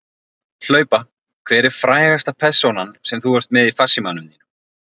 Hlaupa Hver er frægasta persónan sem þú ert með í farsímanum þínum?